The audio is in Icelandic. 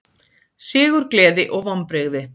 Sigurgleði og vonbrigði